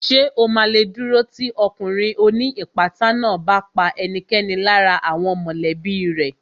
Ṣè o ma lè dúró tì ọkùnrin ó ní ìpátá náà bá pa ẹnikẹ́ni lára àwọn mọ̀lẹ́bí rẹ̀